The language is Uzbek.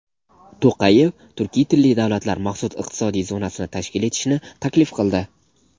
To‘qayev turkiy tilli davlatlar maxsus iqtisodiy zonasini tashkil etishni taklif qildi.